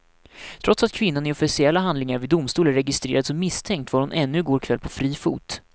Trots att kvinnan i officiella handlingar vid domstol är registrerad som misstänkt var hon ännu i går kväll på fri fot.